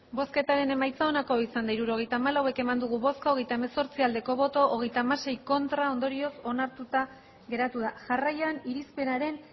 hirurogeita hamalau eman dugu bozka hogeita hemezortzi bai hogeita hamasei ez ondorioz onartuta geratu da jarraian irizpidearen